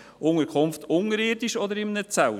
In einer unterirdischen Unterkunft oder in einem Zelt?